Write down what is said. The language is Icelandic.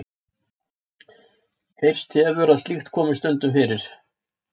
Heyrst hefur að slíkt komi stundum fyrir.